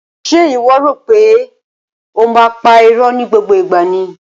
Ṣe iwọ o ri wipe o máa n pa ìró ni gbogbo ìgbà ni?